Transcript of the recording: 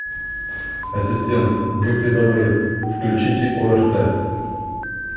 ассистент будьте добры включите орт